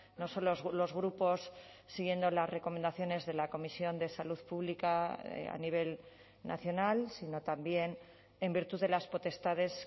no solo los grupos siguiendo las recomendaciones de la comisión de salud pública a nivel nacional sino también en virtud de las potestades